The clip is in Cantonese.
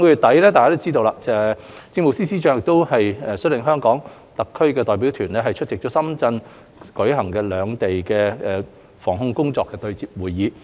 大家都知道，上月底，政務司司長率領了香港特區代表團出席在深圳舉行的內地與香港疫情防控工作對接會議。